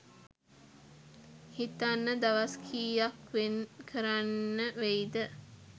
හිතන්න දවස් කීයක් වෙන්කරන්න වෙයිද